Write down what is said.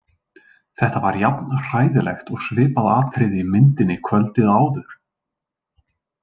Þetta var jafn hræðilegt og svipað atriði í myndinni kvöldið áður.